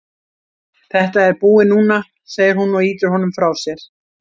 Þetta er búið núna, segir hún og ýtir honum frá sér.